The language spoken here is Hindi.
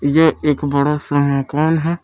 यह एक बड़ा सा मकान है।